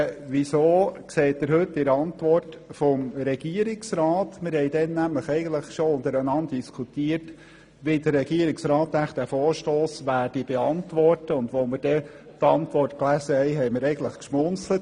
Wir haben diskutiert, wie der Regierungsrat diesen Vorstoss wohl beantworten werde und haben dann beim Lesen der Regierungsantwort geschmunzelt.